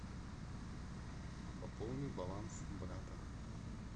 пополни баланс брата